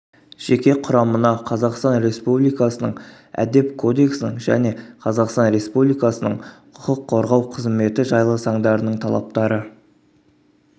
жеке құрамына қазақстан республикасының әдеп кодексінің және қазақстан республикасының құқық қорғау қызыметі жайлы заңдарының талаптары